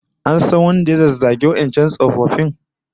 An san wanda ya zazzagi wadancan tsofaffin?